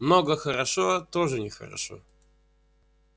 много хорошо тоже нехорошо